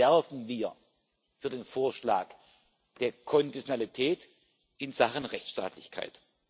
Deswegen werben wir für den Vorschlag der Konditionalität in Sachen Rechtsstaatlichkeit.